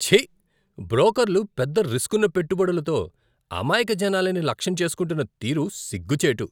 ఛీ! బ్రోకర్లు పెద్ద రిస్కున్న పెట్టుబడులతో అమాయక జనాలని లక్ష్యం చేసుకుంటున్న తీరు సిగ్గు చేటు!